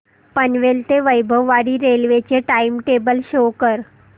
पनवेल ते वैभववाडी रेल्वे चे time table show करा